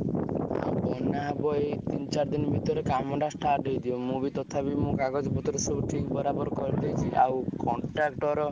ବନ୍ୟା ହବ ଏଇ ତିନି ଚାରି ଦିନ ଭିତରେ କାମ ଟା start ହେଇଯିବ ମୁଁ ବିତଥାପି ମୋ କାଗଜ ପତ୍ର ସବୁ ~ଠି ବରାବର କରିଦେଇଛି ଆଉ contractor